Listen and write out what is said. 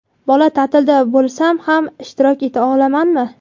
bola ta’tilida bo‘lsam ham ishtirok eta olamanmi?.